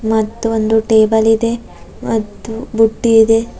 ಮತ್ತು ಒಂದು ಟೇಬಲ್ ಇದೆ ಮತ್ತು ಬುಟ್ಟಿ ಇದೆ.